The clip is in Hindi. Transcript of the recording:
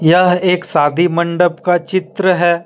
यह एक शादी मंडप का चित्र है।